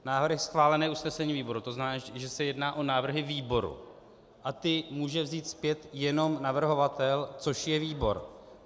Návrhy schválené usnesením výboru, to znamená, že se jedná o návrhy výboru a ty může vzít zpět jenom navrhovatel, což je výbor.